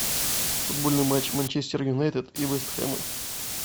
футбольный матч манчестер юнайтед и вест хэма